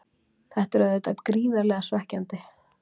Þetta er auðvitað gríðarlega svekkjandi.